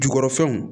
Jukɔrɔ fɛnw